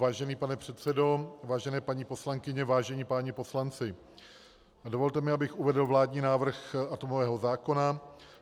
Vážený pane předsedo, vážené paní poslankyně, vážení páni poslanci, dovolte mi, abych uvedl vládní návrh atomového zákona.